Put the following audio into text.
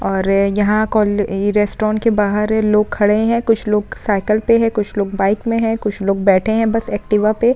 और यहाँ रेस्तराउंट के बाहर लोग खड़े हैं। कुछ लोग साइकिल पे हैं। कुछ लोग बाइक में हैं। कुछ लोग बैठे है बस एक्टिवा पे ।